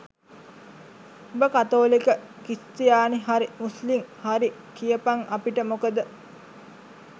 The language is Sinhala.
උඹ කතෝලික ක්‍රිස්තියානි හරි මුස්ලිම් හරි කියපන් අපිට මොකද?